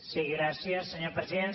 sí gràcies senyor president